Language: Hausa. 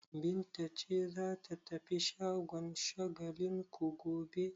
Binta ce za ta tafi shagon Shagalinku gobe?